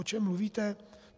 O čem mluvíte?"